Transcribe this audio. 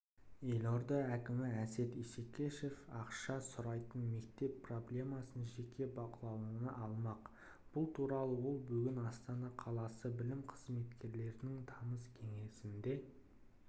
елорда әкімі әсет исекешев ақша сұрайтын мектептер проблемасын жеке бақылауына алмақ бұл туралы ол бүгін астана қаласы білім қызметкерлерінің тамыз кеңесінде